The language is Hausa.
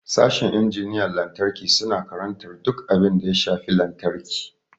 Sashin injiniyan lantarki suna karantar duk abin da ya shafi lantarki.